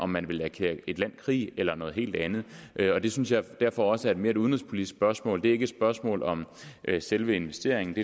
man vil erklære et land krig eller noget helt andet og det synes jeg derfor også er et mere udenrigspolitisk spørgsmål det er ikke et spørgsmål om selve investeringen